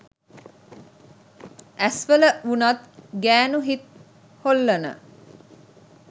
ඇස් වල වුනත් ගෑනු හිත් හොල්ලන